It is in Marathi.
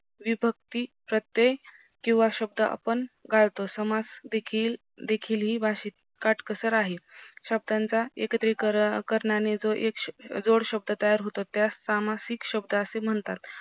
विभक्ती प्रत्ये कीव शब्द आपण गाळतो समास देखील ही भाषेची काटकसर आहे शब्दांचा एकत्रिकरण्याने जो एक जोडशब्द तयार होतो त्यास सामासिक शब्द असे म्हणतात